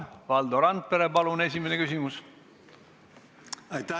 Valdo Randpere, palun esimene küsimus!